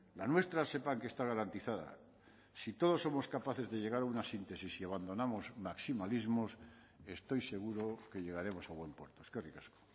la nuestra sepan que está garantizada si todos somos capaces de llegar a una síntesis y abandonamos maximalismos estoy seguro que llegaremos a buen puerto eskerrik asko